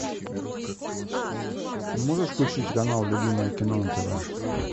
можешь включить канал любимое кино на тв